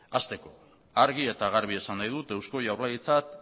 hasteko argi eta garbi esan nahi dut eusko jaurlaritzak